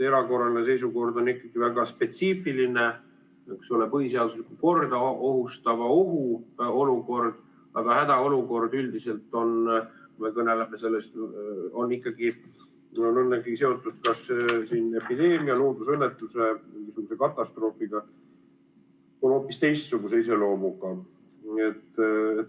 Erakorraline seisukord on ikkagi väga spetsiifiline, põhiseaduslikku korda ohustava ohu olukord, aga hädaolukord üldiselt on ikkagi seotud kas epideemia, loodusõnnetuse või katastroofiga, st on hoopis teistsuguse iseloomuga.